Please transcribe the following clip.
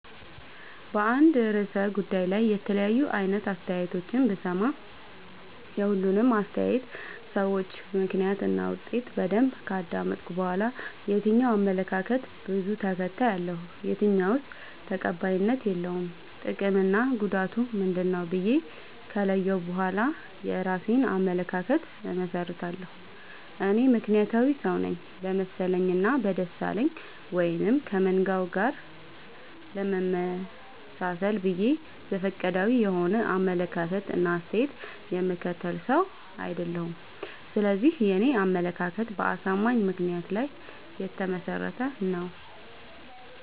በአንድ እርሰ ጉዳይ ላይ የተለያዩ አይነት አስተያየቶችን ብሰማ። የሁሉንም አስታየት ሰጭወች ምክንያት እና ውጤት በደንብ ካዳመጥኩ በኋላ። የትኛው አመለካከት በዙ ተከታይ አለው። የትኛውስ ተቀባይነት የለውም ጥቅምና ጉዳቱ ምንድ ነው ብዬ ከለየሁ በኋላ የእራሴን አመለካከት አመሠርታለሁ። እኔ ምክንያታዊ ሰውነኝ በመሰለኝ እና በደሳለኝ ወይም ከመንጋው ጋር ለመመጣሰል ብዬ ዘፈቀዳዊ የሆነ አመለካከት እና አስተያየት የምከተል ሰው። አይደለሁም ስለዚህ የኔ አመለካከት በአሳማኝ ምክንያት ላይ የተመሰረተ ነው።